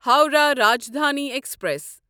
Howrah Rajdhani express